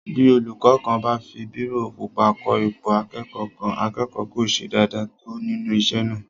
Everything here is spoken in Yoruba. Bí olúkọ́ kan bá fi bírò pupa kọ ipò akẹ́kọ̀ọ́ kan, akẹ́kọ̀ọ́ kò ṣe dáadáa tó nínú isé náà